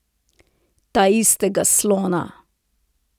Taistega slona.